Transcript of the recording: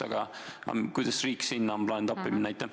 Aga kuidas on riik plaaninud siin appi minna?